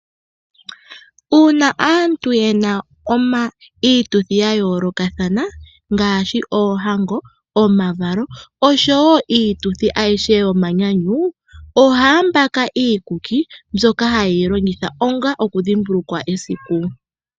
Una aantu yena iituthi ya yoolokathana ngaashi oohango, omavalo osho wo iituthi ayihe yomanyanyu ohaya mbaka iikuki mbyoka hayi ilongitha onga okudhimbulukwa esiku.